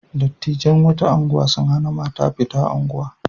Dattijan wata unguwa sun hana mata fita unguwa.